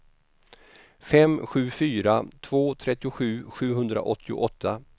fem sju fyra två trettiosju sjuhundraåttioåtta